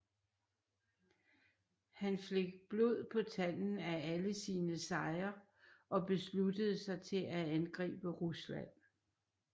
Han fik blod på tanden af alle sine sejre og besluttede sig til at angribe Rusland